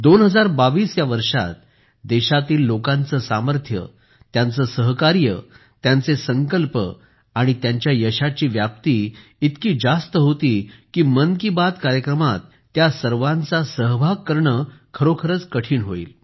2022 या वर्षात देशातील लोकांचे सामर्थ्य त्यांचे सहकार्य त्यांचे संकल्प आणि त्यांच्या यशाची व्याप्ती इतकी जास्त होती की मन की बात कार्यक्रमात त्या सर्वाचा आढावा घेणे खरोखरच कठीण होईल